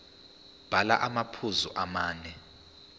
bhala amaphuzu amane